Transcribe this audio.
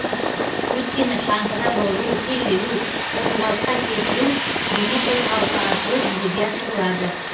өйткені шаңғыда бұрылу тежелу қозғалысқа келтіру дене қозғалысы арқылы жүзеге асырылады